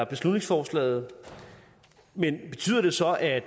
beslutningsforslag men betyder det så at